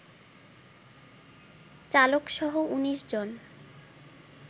চালকসহ ১৯ জন